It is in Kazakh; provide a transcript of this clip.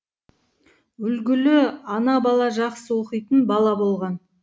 үлгілі ана бала жақсы оқитын бала болған